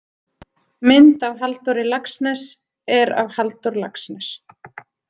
Mynd af Halldóri Laxness er af Halldór Laxness.